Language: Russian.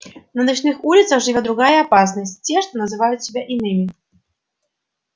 на ночных улицах живёт другая опасность те что называют себя иными